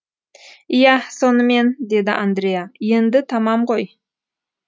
иә сонымен деді андреа енді тамам ғой